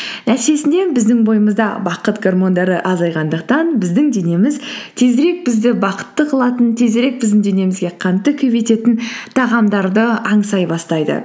нәтижесінде біздің бойымызда бақыт гормондары азайғандықтан біздің денеміз тезірек бізді бақытты қылатын тезірек біздің денемізге қантты көбейтетін тағамдарды аңсай бастайды